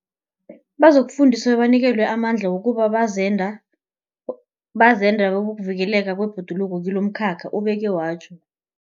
Bazokufundiswa bebanikelwe amandla wokuba bazenda, bazenda bokuvikelwa kwebhoduluko kilomkhakha, ubeke watjho.